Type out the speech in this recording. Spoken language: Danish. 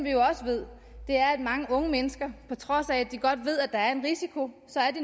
jo også ved er at mange unge mennesker på trods af at de godt ved at der er risiko